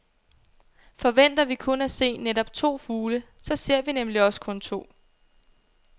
Forventer vi kun at se netop to fugle, så ser vi nemlig også kun to.